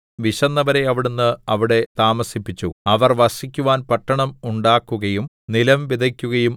വിശന്നവരെ അവിടുന്ന് അവിടെ താമസിപ്പിച്ചു അവർ വസിക്കുവാൻ പട്ടണം ഉണ്ടാക്കുകയും നിലം വിതയ്ക്കുകയും